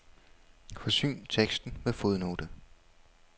Forsyn teksten med fodnote.